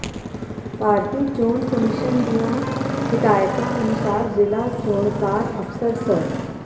ਭਾਰਤੀ ਚੋਣ ਕਮਿਸ਼ਨ ਦੀਆਂ ਹਦਾਇਤਾਂ ਅਨੁਸਾਰ ਜ਼ਿਲ੍ਹਾ ਚੋਣਕਾਰ ਅਫ਼ਸਰ ਸ